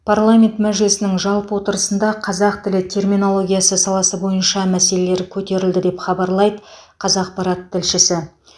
парламент мәжілісінің жалпы отырысында қазақ тілі терминологиясы саласы бойынша мәселелер көтерілді деп хабарлайды қазақпарат тілшісі